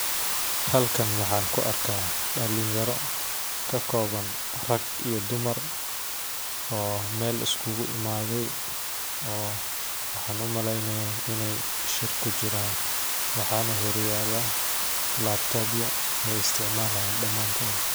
Halkan waxaan ku arkaa dalin yara ka kooban rag iyo dumar oo meel iskugu imaaden waxaan umaleeya inaay shir kujiraan waxaa hor yaala kompitara.